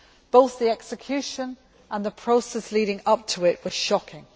Both the execution and the process leading up to it were shocking.